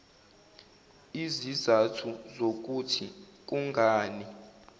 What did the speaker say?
izizathu zokuthi kungani